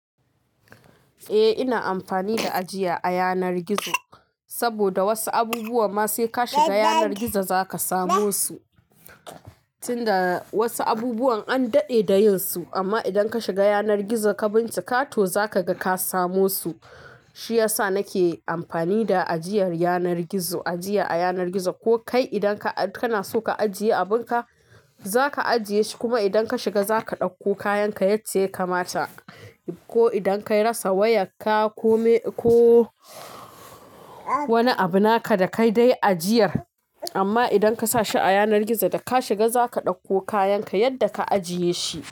Eh ina amfani da ajiya a yanar gizo saboda wasu abubuwa ma sai ka shiga yanar gizo zaka samu su, tun da wasu abubuwa an daɗe da yin su amma idan ka shiga yanar gizo ka bincika to zaka ga ka samu su. Shi yasa nake amfani da ajiyar yanar gizo, ajiya a yanar gizo ko kai idan kana so ka ajiye abunka za ka ajiye shi kuma idan ka shiga za ka ɗauko kayan yadda ya kamata. Ko idan kai rassa wayarka ko wani abu naka da kai dai ajiyar amma idan ka sa shi a yanar gizo da ka shiga za ka ɗauko kayan ka yadda ka ajiye shi.